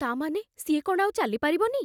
ତା' ମାନେ? ସିଏ କ'ଣ ଆଉ ଚାଲିପାରିବନି?